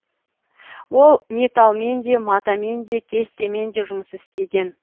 ол металлмен де матамен де кестемен де жұмыс істеген